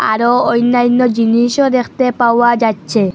আরও অন্যাইন্য জিনিসও দেখতে পাওয়া যাচ্ছে।